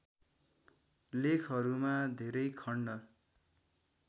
लेखहरूमा धेरै खण्ड